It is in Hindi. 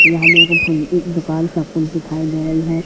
यहां मेरे को फोन की दुकान सब कुछ दिखाई दे रही है।